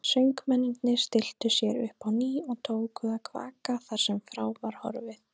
Söngmennirnir stilltu sér upp á ný og tóku að kvaka þar sem frá var horfið.